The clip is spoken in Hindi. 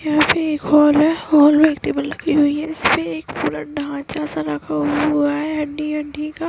यहाँ पे एक हौल है हौल में एक टेबल लगी हुई है इससे एक पूरा ढांचा सा रखा हुआ है हड्डी हड्डी का।